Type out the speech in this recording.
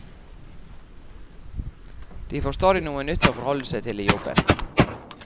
De får stadig noe nytt å forholde seg til i jobben.